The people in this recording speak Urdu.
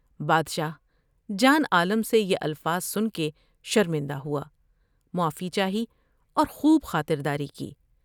بادشاہ جان عالم سے یہ الفاظ سن کے شرمندہ ہوا ، معافی چاہی اور خوب خاطر داری کی ۔